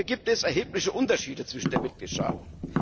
Hier gibt es erhebliche Unterschiede zwischen den Mitgliedstaaten.